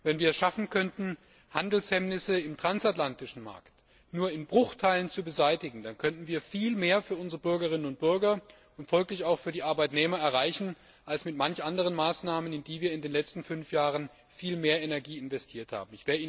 Wenn wir es schaffen könnten, Handelshemmnisse im transatlantischen Markt nur in Bruchteilen zu beseitigen, dann könnten wir viel mehr für unsere Bürgerinnen und Bürger und folglich auch für die Arbeitnehmer erreichen als mit manch anderen Maßnahmen, in die wir in den letzten fünf Jahren viel mehr Energie investiert haben.